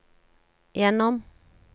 gjennom